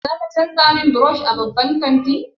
Za ka canza min brush a babban kanti?